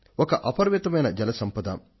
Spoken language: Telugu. ఇది ఒక అనంతమైన సంపద